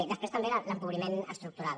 després també l’empobriment estructural